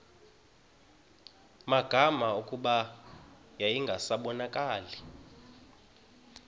magama kuba yayingasabonakali